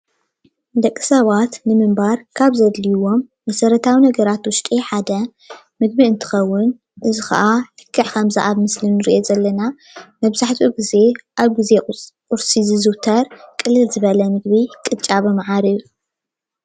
ደቂ ሰባት ንምንባር ካብ ዘድልይዎም መሰረታዊ ነገራት ውሽጢ ሓደ ምግቢ እንትከውን እዚ ከዓ ልክዕ ከምዚ ኣብ ምስሊ እንሪኦ ዘለና መብዛሕትኡ ግዜ ኣብ ቁርሲ ዝዝውተር ቅልል ዝበለ ምግቢ ቅጫ ብመዓር እዩ፡፡